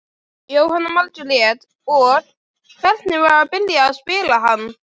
Jóhanna Margrét: Og, hvernig var að byrja að spila hann?